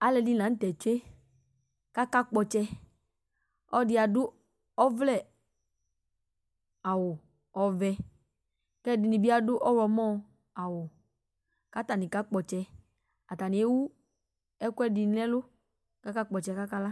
aloɛdi lantɛ tsue ko aka kpɔ ɔtsɛ ɔloɛdi ado ɔvlɛ awu ɔvɛ ko ɛdini bi ado ɔwlɔmɔ awu ko atani kakpɔ ɔtsɛ atani ewu ekoɛdi no ɛlo ko aka kpɔ ɔtsɛ ko aka la